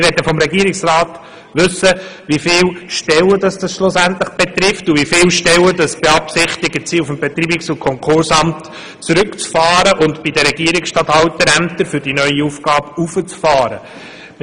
Wir möchten vom Regierungsrat wissen, wie viele Stellen das schlussendlich betrifft und wie viele Stellen man beim Betreibungs- und Konkursamt zurückfahren und bei den Regierungsstatthalterämtern für die neue Aufgabe hinauffahren will.